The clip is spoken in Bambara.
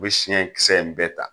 U be siɲɛkisɛ in bɛɛ ta.